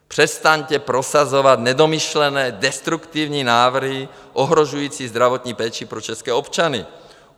Přestaňte prosazovat nedomyšlené, destruktivní návrhy ohrožující zdravotní péči pro české občany.